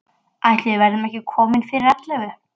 Ætli við verðum ekki komin fyrir ellefu.